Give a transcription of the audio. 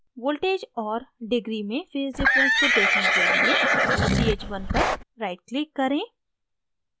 voltages और degree में phase difference को देखने के लिए ch1 पर right click करें